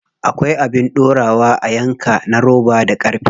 Akwai abin dorawa a yanka na roba da ƙarfe.